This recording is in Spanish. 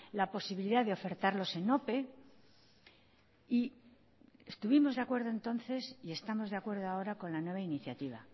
la posibilidad de ofertarlos en ope y estuvimos de acuerdo entonces y estamos de acuerdo ahora con la nueva iniciativa